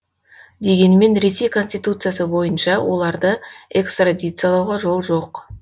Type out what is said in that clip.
дегенмен ресей конституциясы бойынша оларды экстрадициялауға жол жоқ